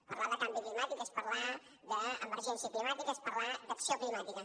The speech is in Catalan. parlar de canvi climàtic és parlar d’emergència climàtica és parlar d’acció climàtica